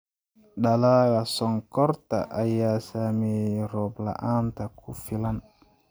Dalagga sonkorta ayaa saameeyay roob la�aanta ku filan.